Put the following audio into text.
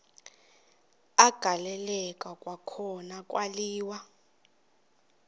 agaleleka kwakhona kwaliwa